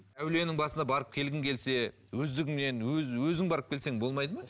әулиенің басына барып келгің келсе өздігіңнен өзің барып келсең болмайды ма